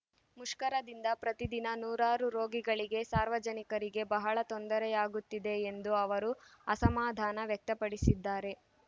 ಮುಷ್ಕರದಿಂದ ಪ್ರತಿದಿನ ನೂರಾರು ರೋಗಿಗಳಿಗೆ ಸಾರ್ವಜನಿಕರಿಗೆ ಬಹಳ ತೊಂದರೆಯಾಗುತ್ತಿದೆ ಎಂದು ಅವರು ಅಸಮಾಧಾನ ವ್ಯಕ್ತಪಡಿಸಿದ್ದಾರೆ